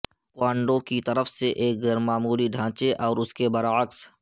کوانڈو کی طرف سے ایک غیر معمولی ڈھانچے اور اس کے برعکس